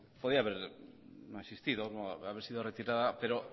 podía haber no existido o haber sido retirada pero